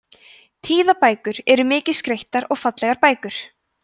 tíðabækur eru mikið skreyttar og fallegar bækur